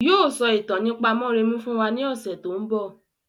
Yii o sọ ìtàn nípa mọ́remí fún wa ní ọ̀sẹ̀ tòun bọ̀.